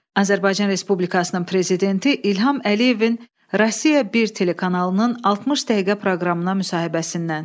Azərbaycan Respublikasının Prezidenti İlham Əliyevin Rusiya bir telekanalının 60 dəqiqə proqramına müsahibəsindən.